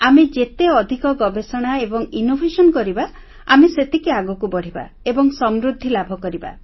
ଆମେ ଯେତେ ଅଧିକ ଗବେଷଣା ଏବଂ ନବସୃଜନ କରିବା ଆମେ ସେତିକି ଆଗକୁ ବଢ଼ିବା ଏବଂ ସମୃଦ୍ଧି ଲାଭକରିବା